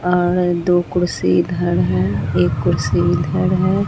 और दो कुर्सी इधर है एक कुर्सी इधर है।